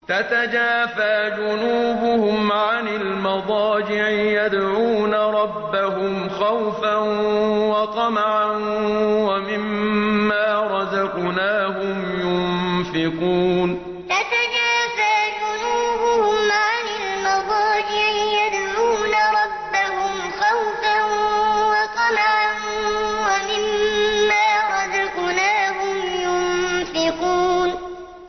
تَتَجَافَىٰ جُنُوبُهُمْ عَنِ الْمَضَاجِعِ يَدْعُونَ رَبَّهُمْ خَوْفًا وَطَمَعًا وَمِمَّا رَزَقْنَاهُمْ يُنفِقُونَ تَتَجَافَىٰ جُنُوبُهُمْ عَنِ الْمَضَاجِعِ يَدْعُونَ رَبَّهُمْ خَوْفًا وَطَمَعًا وَمِمَّا رَزَقْنَاهُمْ يُنفِقُونَ